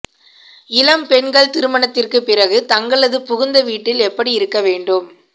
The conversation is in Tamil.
இளம்பெண்கள் திருமணத்திற்கு பிறகு தங்களது புகுந்த வீட்டில் எப்படி இருக்க வேண்டும்